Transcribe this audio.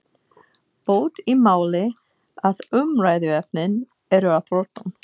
Bót í máli að umræðuefnin eru á þrotum.